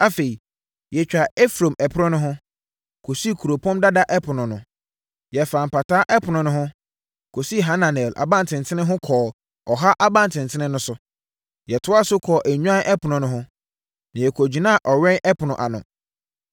afei yɛtwaa Efraim Ɛpono no ho, kɔsii Kuropɔn Dada Ɛpono no, yɛfaa Mpataa Ɛpono no ho, kɔsii Hananel Abantenten ho kɔɔ Ɔha Abantenten no ho. Yɛtoaa so kɔɔ Nnwan Ɛpono no ho, na yɛkɔgyinaa Ɔwɛn Ɛpono ano.